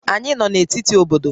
Anyị nọ na etiti obodo